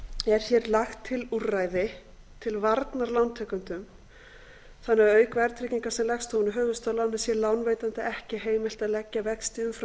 er hér lagt til úrræði til varnar lántakendum þannig að auk verðtryggingar sem leggst ofan á höfuðstól sé lánveitanda ekki heimilt að leggja vexti umfram